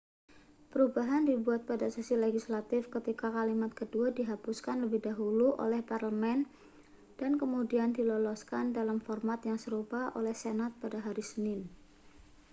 perubahan dibuat pada sesi legislatif ketika kalimat kedua dihapuskan lebih dahulu oleh parlemen dan kemudian diloloskan dalam format yang serupa oleh senat pada hari senin